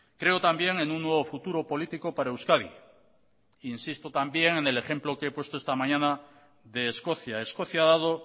creo también en un nuevo futuro político para euskadi insisto también en el ejemplo que he puesto esta mañana de escocia escocia ha dado